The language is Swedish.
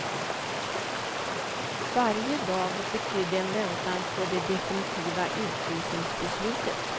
Varje dag betydde en väntan på det definitiva utvisningsbeslutet.